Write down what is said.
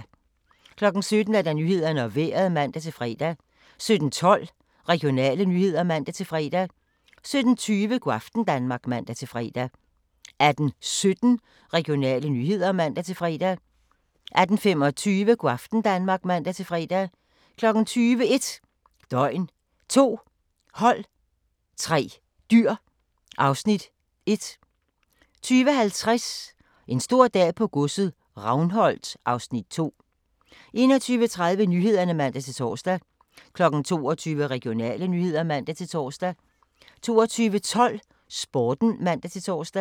17:00: Nyhederne og Vejret (man-fre) 17:12: Regionale nyheder (man-fre) 17:20: Go' aften Danmark (man-fre) 18:17: Regionale nyheder (man-fre) 18:25: Go' aften Danmark (man-fre) 20:00: 1 døgn, 2 hold, 3 dyr (Afs. 1) 20:50: En stor dag på godset - Ravnholt (Afs. 2) 21:30: Nyhederne (man-tor) 22:00: Regionale nyheder (man-tor) 22:12: Sporten (man-tor)